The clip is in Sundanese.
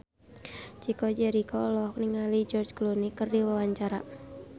Chico Jericho olohok ningali George Clooney keur diwawancara